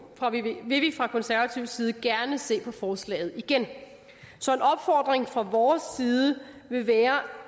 vil vi fra konservativ side gerne se på forslaget igen så en opfordring fra vores side vil være